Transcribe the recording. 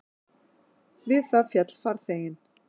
Við það féll farþeginn